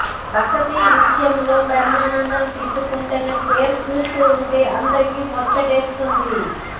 బసంతి విషయంలో బ్రహ్మానందం తీసుకొంటున్న కేర్ చూస్తుంటే అందరికీ ముచ్చటేస్తోంది